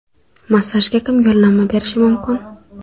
Massajga kim yo‘llanma berishi mumkin?